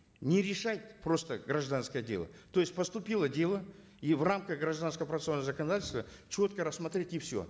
не решать просто гражданское дело то есть поступило дело и в рамках гражданско процессуального законодательства четко рассмотреть и все